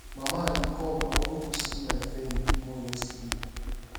mama i dey come i wan go see my friend wey born yesterday